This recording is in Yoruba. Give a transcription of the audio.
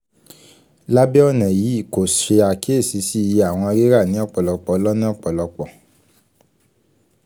labẹ ọna yii ko ṣe akiyesi si iye awọn rira ni ọpọlọpọ lọna ọpọlọpọ